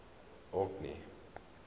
orkney